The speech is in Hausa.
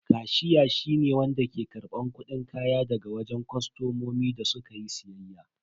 Kashiya shi ne wanda ke karban kudin kaya daga wajen kostomomi da su ka yi siyayya.